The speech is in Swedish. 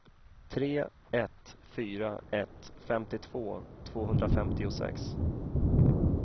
tre ett fyra ett femtiotvå tvåhundrafemtiosex